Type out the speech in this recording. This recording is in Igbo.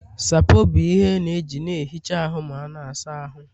Sapoo bụ ihe a na-eji na-ehicha ahụ ma a na-asa ahụ